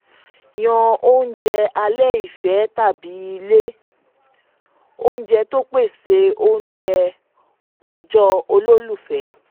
yan oúnjẹ alẹ́ ìfẹ́ tàbí ilé ounjẹ tó pèsè oúnjẹ ọjọ́ olólùfẹ́.